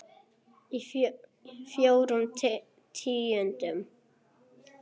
Fjórum tíundu?